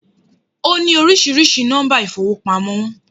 Ó ní oríṣiríṣi nọ́mbà ìfowópamọ́